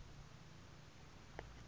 lusuku d d